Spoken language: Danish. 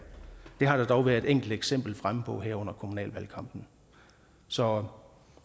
har der dog været et enkelt eksempel fremme på her under kommunalvalgkampen så